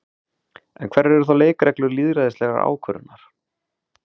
En hverjar eru þá leikreglur lýðræðislegrar ákvörðunar?